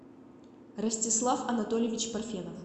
ростислав анатольевич парфенов